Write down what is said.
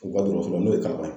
U ka dɔrɔso la n'o ye Kalaban ye.